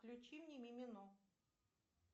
включи мне мимино